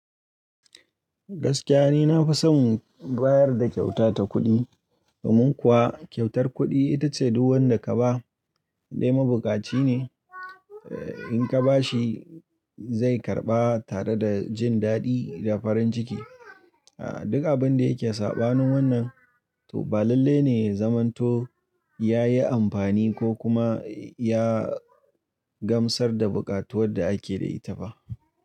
Gaskiya ne na fi son bayar da kyauta ta kuɗi, domin kuwa kyautar kuɗi ita ce duk wanda ka ba dai mabukaci ne, in ka ba shi zai karɓa tare da jin daɗi da farin ciki. A duk abin da yake saɓanin wannan, to balalle ne zamanto ya yi amfani ko kuma ya gamsar da buƙatuwar da ake da ita ba.